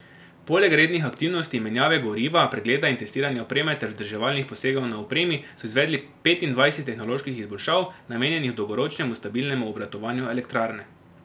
Poleg rednih aktivnosti, menjave goriva, pregleda in testiranja opreme ter vzdrževalnih posegov na opremi so izvedli petindvajset tehnoloških izboljšav, namenjenih dolgoročnemu stabilnemu obratovanju elektrarne.